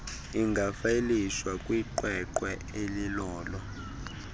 ingafayilishwa kwiqweqwe elilolo